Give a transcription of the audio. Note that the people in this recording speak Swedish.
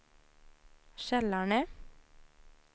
Kälarne